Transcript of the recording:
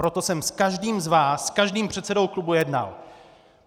Proto jsem s každým z vás, s každým předsedou klubu, jednal.